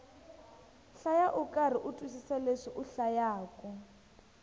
hlaya ukarhi u twisisa leswi u hlayaku